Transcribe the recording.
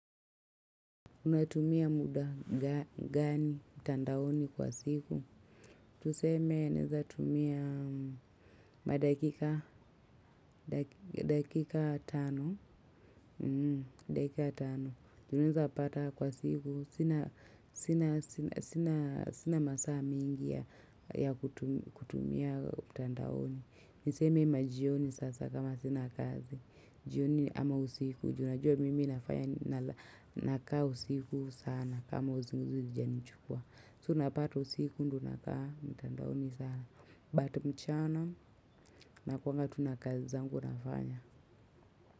Unatumia mda gani mtandaoni kwa siku? Tuseme naeza tumia madakika, dakika tano. Tunaeza pata kwa siku, sina sina masaa mingi ya kutumia tandawoni. Niseme majioni sasa, kama sina kazi. Jioni ama usiku juu najua mimi nafanya. Nakaa usiku sana. Kama usinguzi ujani chukua. So, unapata usiku ndo nakaa mtandaoni sana. But mchana, na kwanga tu na kazi zangu nafanya.